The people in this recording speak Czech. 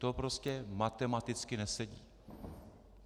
To prostě matematicky nesedí.